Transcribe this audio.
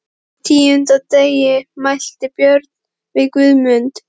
Á tíunda dægri mælti Björn við Guðmund